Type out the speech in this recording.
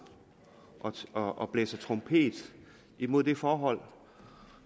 og blæser i trompet mod det forhold